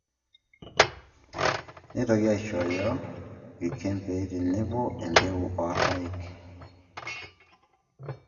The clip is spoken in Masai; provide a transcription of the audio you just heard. Neitoki aishooyo irkembei tenebo o embeku orpaek